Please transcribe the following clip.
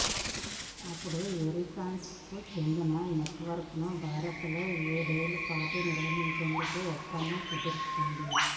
అప్పుడు ఎరిక్సన్ కు చెందిన నెట్వర్క్ ను భారత్ లో ఏడేళ్ల పాటు నిర్వహించేందుకు ఒప్పందం కుదుర్చుకుంది